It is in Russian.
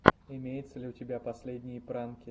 имеется ли у тебя последние пранки